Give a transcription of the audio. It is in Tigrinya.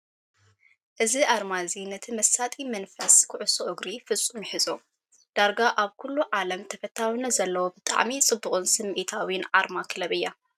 እዚ ኣርማ እዚ ነቲ መሳጢ መንፈስ ኩዕሶ እግሪ ፍጹም ይሕዞ! ዳርጋ ኣብ ኩሉ ዓለም ተፈታዊነት ዘለዎ ብጣዕሚ ጽብቕን ስምዒታዊን ኣርማ ክለብ እያ!